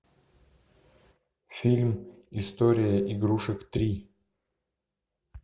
фильм история игрушек три